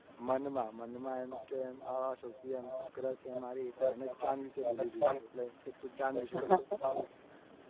મનમાં મનમાં આ છોકરી એમ સૌથી પહેલા crush છે. મારી એટલે આને ચાંદ વિશે બોલવું જોઈએ. એટલે કે તું ચાંદ વિશે બોલ